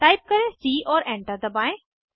type करें C और enter दबाएं